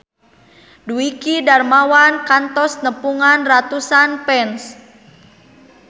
Dwiki Darmawan kantos nepungan ratusan fans